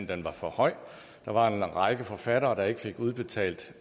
den var for høj der var en række forfattere der ikke fik udbetalt